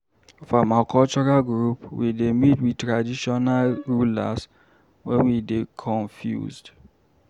For my cultural group, we dey meet we traditional ruler wen we dey confused.